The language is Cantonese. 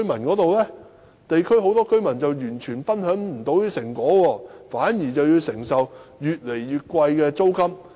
很多地區居民完全未能分享這些成果，反而要承受越來越貴的租金。